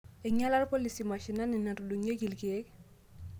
Eing'iala ilpolisi mashinini natudung'ieki ilkeek